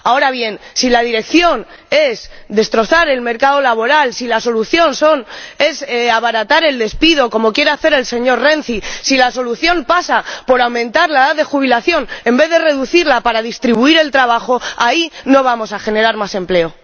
Ahora bien, si la dirección es destrozar el mercado laboral, si la solución es abaratar el despido —como quiere hacer el señor Renzi—, si la solución pasa por aumentar la edad de jubilación en vez de reducirla para distribuir el trabajo, así no vamos a generar más empleo.